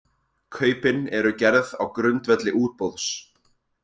Kaupin eru gerð á grundvelli útboðs